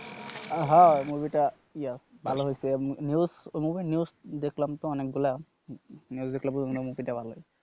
হ্যাঁ movie টা ইয়া ভালো হইছে উম news movie র news দেখলাম তো অনেকগুলা news দেখলে বুঝন যায় movie টা ভালো হইছে।